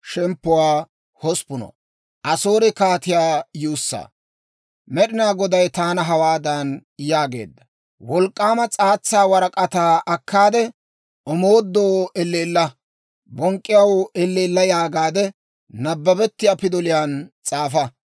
Med'inaa Goday taana hawaadan yaageedda; «Wolk'k'aama s'aatsa warak'ataa akkaade, ‹Omoodoo elleella! Bonk'k'iyaw elleella!› yaagaade, nabbabettiyaa pidoliyaan s'aafa.